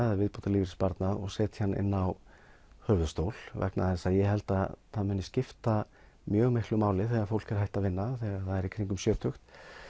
eða viðbótarlífeyrissparnað og setja hann inn á höfuðstól vegna þess að ég held að það muni skipta mjög miklu máli þegar fólk er hætt að vinna í kringum sjötugt